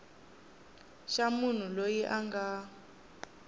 xa munhu loyi a nga